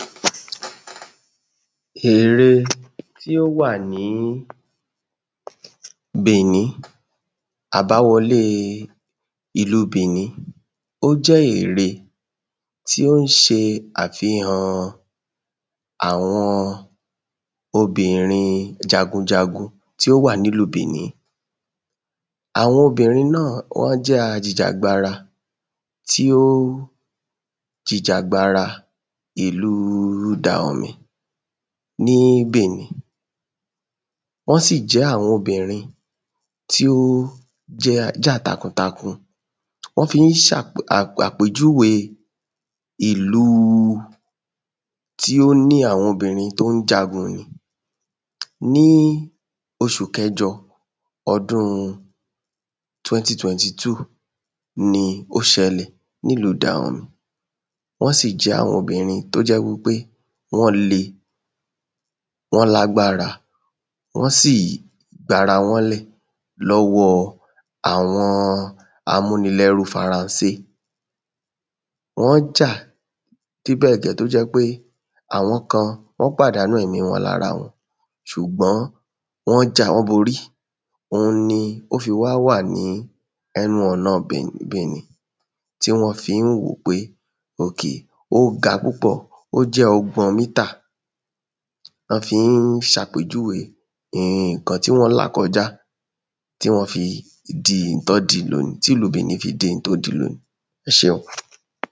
Ère tí o wà ní Bìní, àbá wọ́le ìlù Bìní ó jẹ ère tí o n ṣe afíhan awọn obìnrín jágunjágun tí o wà nílù Bìní Awọn obìnrín náa wọn jẹ́ ajìjà agbára tí o jíjà agbára ìlù Daòmì ni Bìní. Wọn sí jẹ́ awọn obìnrín tí o ja tákúntákún. Wọn fi n ṣàpejúwe Ìlù tí o ní awọn obìnrín tí o jágun ni. Ní oṣù kẹjọ ọdún 2022 ní o ṣẹ nílù Dàomì, wọn si jẹ́ awọn obìnrín tó jẹ́ wi pe wọn le wọn lágbára wọn si gbá ara wọn lẹ lọ́wọ́ awọn amúnilẹ́ru Faransé. Wọn ja de bẹ́ gẹ́ to jẹ́ pe awọn kan wọn pádànu ẹ̀mí wọn lara wọn. ṣùgbọ́n wọn ja wọn borí. Oun ni o ṣe wá wà ní ẹnu ọ̀ná Bìní tí wọn fí n wo pé okay o gá púpọ̀, o jẹ́ ọgbọ̀n mítà. Wọn fí n ṣàpejúwe nkan tí wọn la kọjá tí wọn fi di ihun tí wọn dì lóòní tí ìlù Bìní fí dí ihun to dì lóòní. ẹ seun.